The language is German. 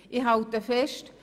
Ich halte fest: